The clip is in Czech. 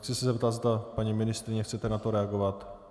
Chci se zeptat, zda paní ministryně chce na to reagovat.